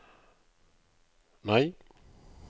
nei